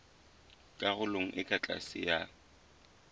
karolong e ka tlase ya